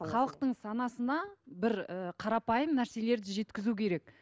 халытың санасына бір і қарапайым нәрселерді жеткізу керек